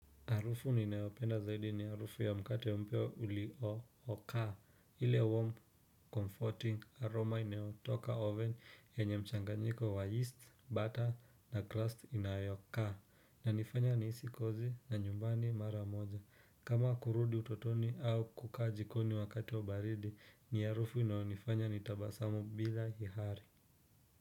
Harufu ninayopenda zaidi ni harufu ya mkate mpya ulio oka ile warm comforting aroma inayotoka oven yenye mchanganyiko wa yeast butter na crust inayokaa Inanifanya nihisi kozi na nyumbani mara moja kama kurudi utotoni au kukaa jikoni wakati wa baridi ni harufu inayonifanya nitabasamu bila ihari.